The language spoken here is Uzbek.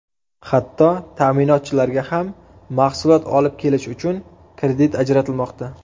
Hatto ta’minotchilarga ham mahsulot olib kelish uchun kredit ajratilmoqda.